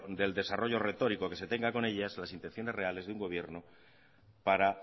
del desarrollo retórico que se tenga con ellas las intenciones reales de un gobierno para